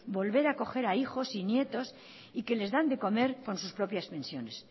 volver a acoger a hijos y a nietos y que les dan de comer con sus propias pensiones